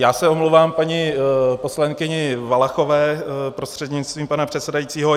Já se omlouvám paní poslankyni Valachové prostřednictvím pana předsedajícího.